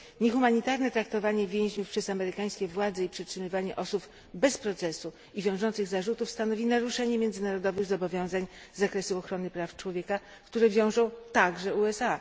Niehumanitarne traktowanie więźniów przez amerykańskie władze i przetrzymywanie osób bez procesu i wiążących zarzutów stanowi naruszenie międzynarodowych zobowiązań z zakresu ochrony praw człowieka, które wiążą także USA.